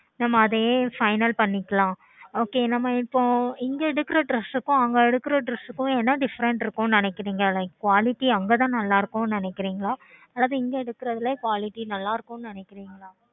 நம்ப அதையே final பண்ணிக்கலாம் ok நம்ப இப்போ இங்க எடுக்குற Dress கும் அங்க எடுக்குற dress கும் என்ன Different இருக்கும் நினைக்குறிங்க Like quality அங்கதான் நல்ல இருக்கும் நினைக்குறிங்கல அல்லது இங்க எடுக்குறத்துல எ quality நல்ல இருக்கும் நினைக்குறிங்கல